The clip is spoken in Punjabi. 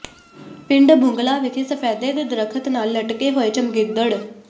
ਪਿੰਡ ਬੁੰਗਲਾ ਵਿਖੇ ਸਫੈਦੇ ਦੇ ਦਰੱਖਤ ਨਾਲ ਲਟਕੇ ਹੋਏ ਚਮਗਿੱਦੜ